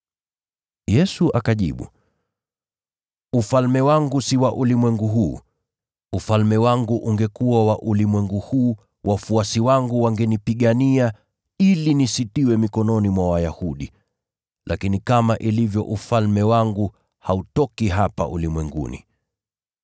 Yesu akajibu, “Ufalme wangu si wa ulimwengu huu. Ufalme wangu ungekuwa wa ulimwengu huu, wafuasi wangu wangenipigania ili nisitiwe mikononi mwa Wayahudi. Lakini kama ilivyo, ufalme wangu hautoki hapa ulimwenguni.”